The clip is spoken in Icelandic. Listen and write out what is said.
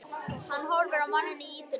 Hann horfir á manninn í ýtunni.